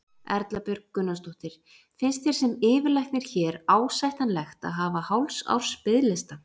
Erla Björg Gunnarsdóttir: Finnst þér sem yfirlæknir hér ásættanlegt að hafa hálfs árs biðlista?